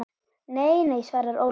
Nei, nei svarar Ólöf.